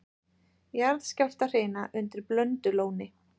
Jarðskjálftahrina undir Blöndulóni